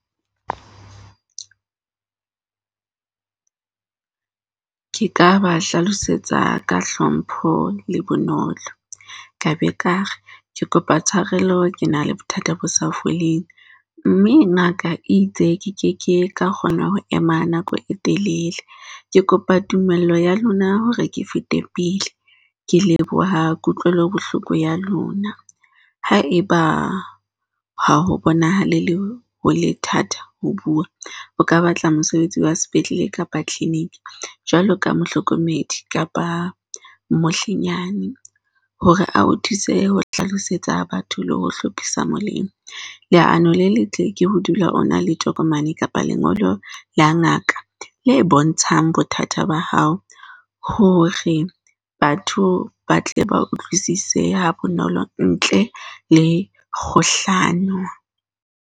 Ke ka ba hlalosetsa ka hlompho le bonolo. Ka be kare, ke kopa tshwarelo. ke na le bothata bo sa foleng mme ngaka e itse ke ke ke ka kgona ho ema nako e telele. Ke kopa tumello ya lona hore ke fete pele. Ke leboha kutlwelo bohloko ya lona. Haeba ha ho bonahale le ho le thata ho bua, o ka batla mosebetsi wa sepetlele kapa clinic jwalo ka mohlokomedi kapa mohlehlo nyane hore a o thuse ho hlalosetsa batho le ho hlophisa molemo. Leano le letle ke ho dula o na le tokomane kapa lengolo la ngaka le bontshang bothata ba hao hore batho ba tle ba utlwisise ha bonolo ntle le kgohlano.